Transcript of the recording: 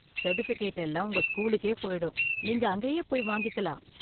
Certificate எல்லாம் உங்க ஸ்கூலுக்கே போயிடும், நீங்க அங்கேயே போய் வாங்கிக்கலாம்.